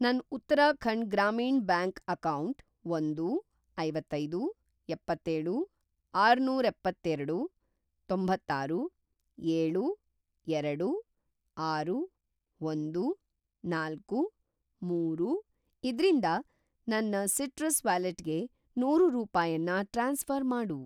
ನನ್‌ Uttarakhand Gramin bank account ಒಂದು, ಐವತ್ತೈದು, ಎಪ್ಪತ್ತೇಳು, ಆರ್ನೂರಎಪ್ಪತ್ತೇರಡು, ತೊಂಬತ್ತಾರು, ಏಳು, ಎರಡು, ಆರು, ಒಂದು, ನಾಲ್ಕು, ಮೂರು ಇದ್ರಿಂದ ನನ್‌ ಸಿಟ್ರಸ್ ವ್ಯಾಲೆಟ್‌ಗೆ ನೂರು ರೂಪಾಯನ್ನ ಟ್ರಾನ್ಸ್‌ಫ಼ರ್‌ ಮಾಡು